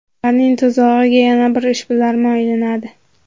Ularning tuzog‘iga yana bir ishbilarmon ilinadi.